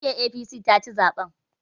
Jam'iyyar APC taci zaɓen.